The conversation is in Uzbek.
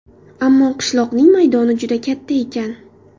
Ammo qishloqning maydoni juda katta ekan.